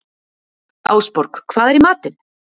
Ásborg, hvað er í matinn?